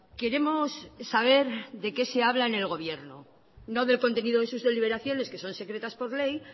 queremos saber de qué se habla en el gobierno no del contenido de sus deliberaciones que son secretas por ley